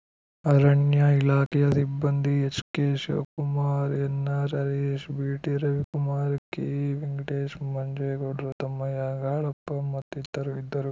ಅರಣ್ಯ ಇಲಾಖೆಯ ಸಿಬ್ಬಂದಿ H K Shivakumar N R Harish B T Ravikumar K Venkatesh ಮಂಜೇಗೌಡರು ತಮ್ಮಯ್ಯ ಗಾಳಪ್ಪ ಮತ್ತಿತರರು ಇದ್ದರು